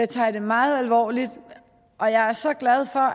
tager jeg det meget alvorligt og jeg er så glad for